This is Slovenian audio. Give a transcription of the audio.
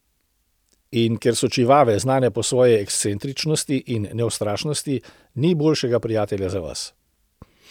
In ker so čivave znane po svoji ekscentričnosti in neustrašnosti, ni boljšega prijatelja za vas.